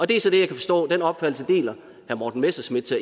det er så kan jeg forstå en opfattelse herre morten messerschmidt